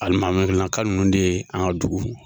Alimaminaka nunnu de ye an ka dugu